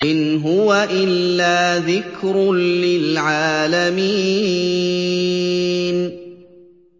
إِنْ هُوَ إِلَّا ذِكْرٌ لِّلْعَالَمِينَ